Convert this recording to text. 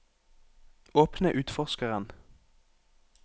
åpne utforskeren